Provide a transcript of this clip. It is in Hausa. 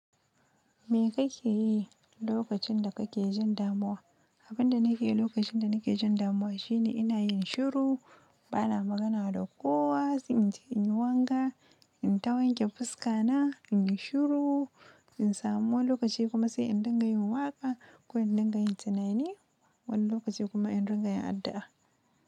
Me kake yi lokacin da kake jin damuwa? Abin da nake yi lokacin da nake jin damuwa shine ina yin shiru, bana magana da kowa, sai in je in yi wanka, in tawanke fuska na, in yi shiru, in samu wani lokaci kuma sai in dinga yin waƙa ko in dinga yin tunani, wani lokaci kuma in dinga yin addu'a.